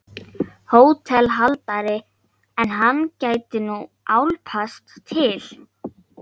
HÓTELHALDARI: Ef hann gæti nú álpast til.